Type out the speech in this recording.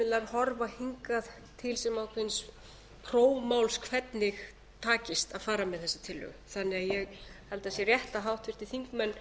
horfa hingað til prófmál hvernig takist að fara með þessa tillögu þannig að ég held að það sé rétt að háttvirtir þingmenn